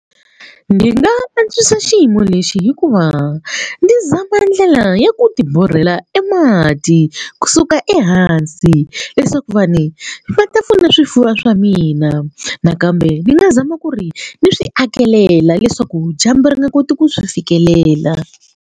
Ndzi nga antswisa xiyimo lexi hi ku va ndzi zama ndlela ya ku ti borhela e mati kusuka ehansi leswaku vanhu va ta pfuna swifuwo swa mina nakambe ndzi nga zama ku ri ni swi akelela leswaku dyambu ri nga koti ku swi fikelela.